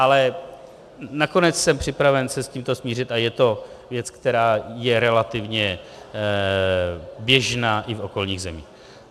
Ale nakonec jsem připraven se s tímto smířit a je to věc, která je relativně běžná i v okolních zemích.